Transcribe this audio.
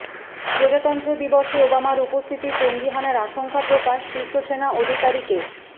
প্রজাতন্ত্র দিবসে ওবামার উপস্থিতি জঙ্গি হানার আশঙ্কা প্রকাশ শীর্ষ সেনা আধিকারিকের